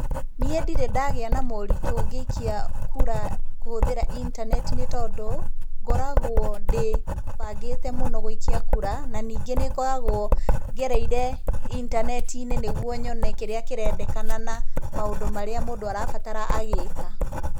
Niĩ ndĩrĩ ndagĩa na moritũ ngĩikia kura kũhũthĩra intaneti nĩ tondũ, ngoragwo ndĩbangĩte muno gũikia kura, na ningĩ nĩ ngoragwo ngereire intaneti-inĩ nĩ guo nyone kĩrĩa kĩrendekana na maũndũ marĩa mũndũ arabatara agĩĩka.